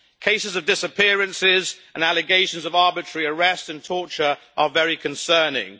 Cases of disappearances and allegations of arbitrary arrest and torture are very concerning.